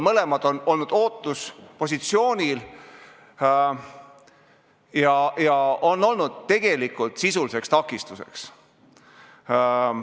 Mõlemad on olnud ootuspositsioonil ja see seadus on olnud tegelikult sisuliseks takistuseks.